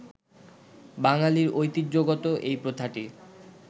বাঙালির ঐতিহ্যগত এই প্রথাটি